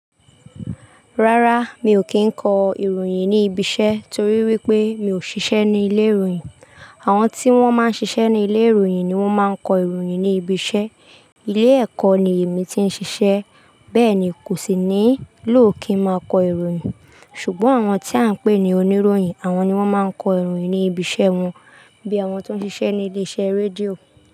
Rárá, mi ò kí ń kọ ìròyìn ní ibi iṣẹ́ torí wípé mi ò ṣiṣẹ́ ní ilé ìròyìn. Àwọn tí wón máa ń ṣiṣẹ́ ní ilé ìròyìn ni wón máa ń kọ ìròyìn ní ibi iṣẹ́. Ilé ẹ̀kọ́ ni èmi ti ń ṣiṣẹ́. Bẹ́ẹ̀ ni, kò sí nílò kí n máa kọ ìròyìn. Ṣùgbọ́n àwọn tí à ń pè ní oníròyìn, àwọn ni wọ́n máa ń kọ ìròyìn ní ibi iṣẹ́ wọn. Bí àwọn tó ń ṣíṣe ní ilé iṣẹ́ rédíò.